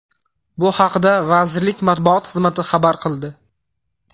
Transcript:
Bu haqida vazirlik matbuot xizmati xabar qildi.